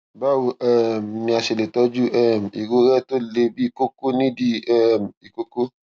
báwo um ni a ṣe lè tọjú um irorẹ tó le bíi kókó ní ìdí um ìkókó